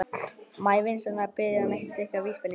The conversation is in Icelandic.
Má ég vinsamlega biðja um eitt stykki vísbendingu?